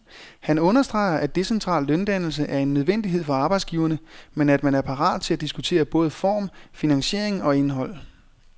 Han understreger, at decentral løndannelse er en nødvendighed for arbejdsgiverne, men at man er parat til at diskutere både form, finansiering og indhold.